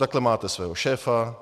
Takhle máte svého šéfa.